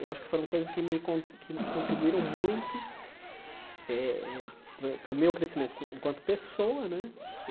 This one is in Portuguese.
Eu acho que foram coisas que me con que contribuíram muito eh eh para o meu crescimento enquanto pessoa né.